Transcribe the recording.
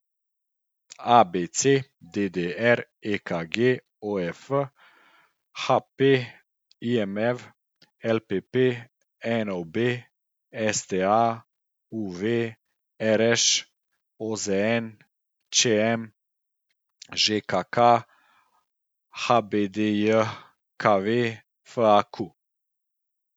ABC, DDR, EKG, OF, HP, IMV, LPP, NOB, STA, UV, RŠ, OZN, ČM, ŽKK, HBDJKV, FAQ.